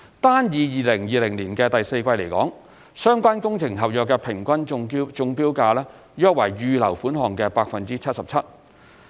單以2020年的第四季來說，相關工程合約的平均中標價約為預留款項的 77%。